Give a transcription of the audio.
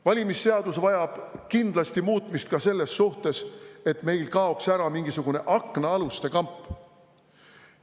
Valimisseadus vajab kindlasti muutmist ka selles suhtes, et meil kaoks ära mingisugune aknaaluste kamp.